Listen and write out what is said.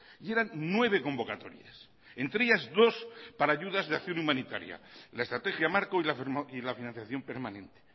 y eran nueve convocatorias entre ellas dos para ayudas de acción humanitaria la estrategia marco y la financiación permanente